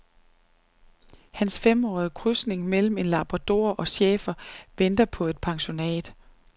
Hans femårige krydsning mellem en labrador og schæfer venter på et pensionat.